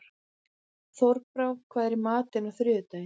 Þorbrá, hvað er í matinn á þriðjudaginn?